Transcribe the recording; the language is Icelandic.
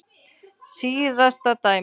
Síðasta dæmið.